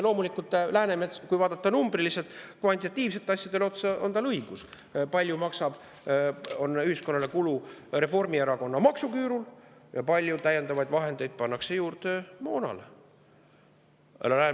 Loomulikult, Läänemetsal, kui vaadata numbrilistele, kvantitatiivsetele asjadele otsa, on õigus, on ühiskonna kulu Reformierakonna maksuküüru tõttu ja kui palju täiendavaid vahendeid pannakse juurde moona.